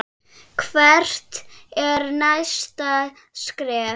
Hvert er næsta skref?